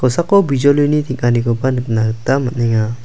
bijolini teng·anikoba nikna gita man·enga.